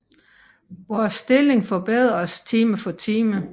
Vor stilling forbedres time for time